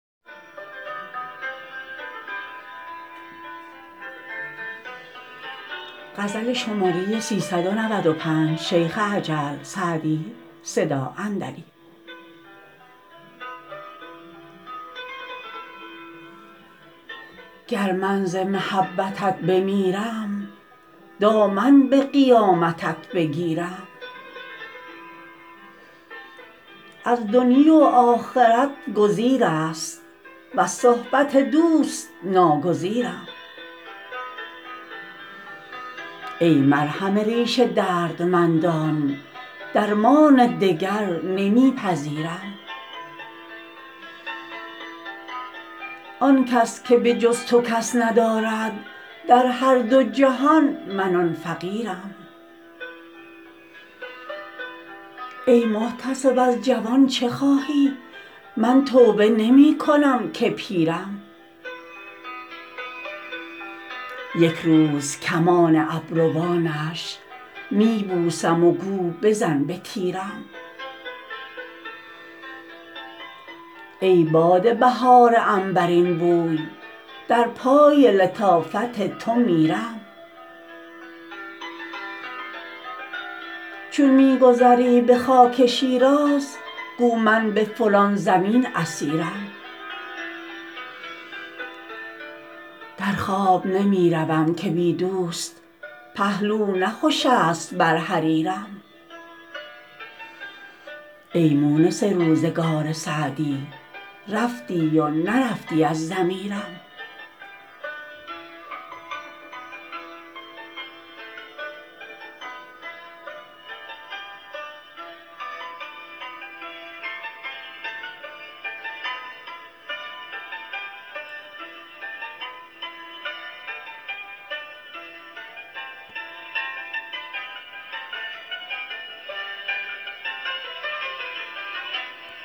گر من ز محبتت بمیرم دامن به قیامتت بگیرم از دنیی و آخرت گزیر است وز صحبت دوست ناگزیرم ای مرهم ریش دردمندان درمان دگر نمی پذیرم آن کس که به جز تو کس ندارد در هر دو جهان من آن فقیرم ای محتسب از جوان چه خواهی من توبه نمی کنم که پیرم یک روز کمان ابروانش می بوسم و گو بزن به تیرم ای باد بهار عنبرین بوی در پای لطافت تو میرم چون می گذری به خاک شیراز گو من به فلان زمین اسیرم در خواب نمی روم که بی دوست پهلو نه خوش است بر حریرم ای مونس روزگار سعدی رفتی و نرفتی از ضمیرم